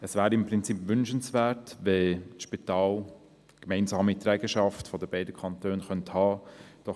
Es wäre im Prinzip wünschenswert, wenn das Spital eine gemeinsame Trägerschaft der beiden Kantone haben könnte.